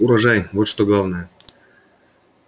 урожай вот что главное